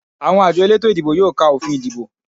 Àwọn àjọ elétò ìdìbò yóò ka òfin ìdìbò